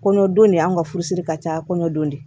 Kɔɲɔ don de an ka furusiri ka ca kɔɲɔ don